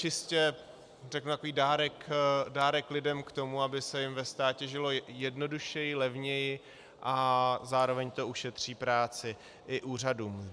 Čistě, řeknu, takový dárek lidem k tomu, aby se jim ve státě žilo jednodušeji, levněji, a zároveň to ušetří práci i úřadům.